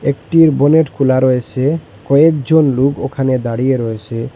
একটি বনেট খোলা রয়েসে কয়েকজন লুক ওখানে দাঁড়িয়ে রয়েসে।